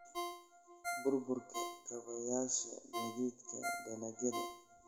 Burburka kaabayaasha gaadiidka dalagyada.